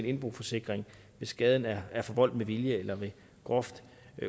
indboforsikring hvis skaden er er forvoldt med vilje eller ved groft